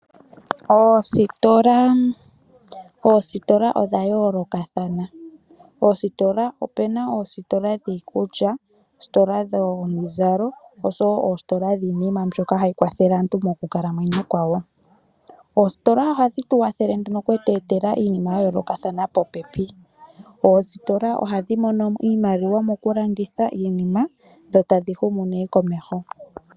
Oositola odha yoolokathana . Opuna oositola dhiikulya, oositola dhomizalo oshowo oositola dhiinima mbyoka hayi kwathele aantu mokukalamwenyo kwawo . Oositola ohadhi tukwathele okukweetela iinima yayoolokathana popepi. Oositola ohadhi mono iimaliwa mokulanditha iinima dho tadhi humu komeho.